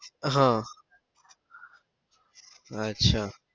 આહ અચ્છા